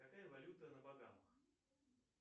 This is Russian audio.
какая валюта на багамах